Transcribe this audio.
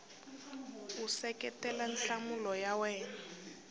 u seketela nhlamulo ya wena